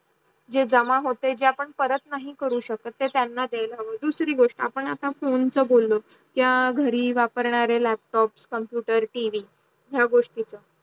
जे जमा होत आपण परत नाही करू शकत ते त्यांना देईल हावं, दुसरी गोष्ट आपण अत फोन चा बोललो त्या घरी वापरणारे लॅपटॉप computer टिव्ही या गोष्टीच